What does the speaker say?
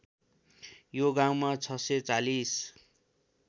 यो गाउँमा ६४०